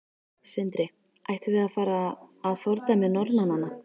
Sindri: Ættum við að fara að fordæmi Norðmanna?